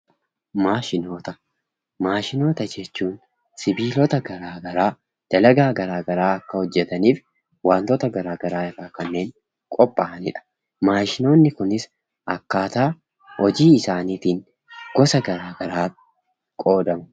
Maashinoota: Maashinoota jecbuun sibiilota gara garaa dalagaa gara garaa kan hojetaniif wantoota gara garaa irraa kanneen qophaa'anidha. Maashinoonni kunis akkaataa hojii isaaniitiin gosa gara garaatri qoodamu.